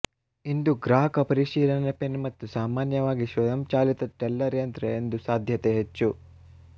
ಇಂದು ಗ್ರಾಹಕ ಪರಿಶೀಲನೆ ಪಿನ್ ಮತ್ತು ಸಾಮಾನ್ಯವಾಗಿ ಸ್ವಯಂಚಾಲಿತ ಟೆಲ್ಲರ್ ಯಂತ್ರ ಎಂದು ಸಾಧ್ಯತೆ ಹೆಚ್ಚು